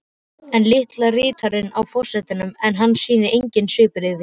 Enn líta ritararnir á forsetann en hann sýnir engin svipbrigði.